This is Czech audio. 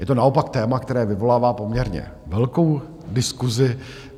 Je to naopak téma, které vyvolává poměrně velkou diskusi.